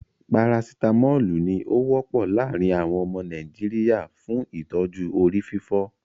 Paracitamolu ní o wọ́pọ̀ láàrín àwọn ọmọ Nàìjíríà fún ìtọ́jú orí fífọ́.